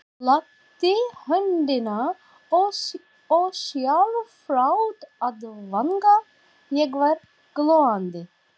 Lagði höndina ósjálfrátt að vanga, ég var glóandi.